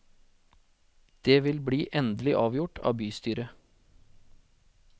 Det vil bli endelig avgjort av bystyret.